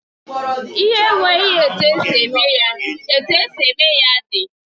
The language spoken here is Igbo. Ihe na enweghị etu esi eme ya, etu esi eme ya dị.